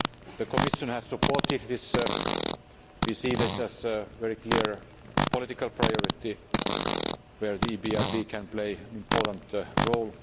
The Commission has supported this and we see this as a very clear political priority where the EBRD can play an important role.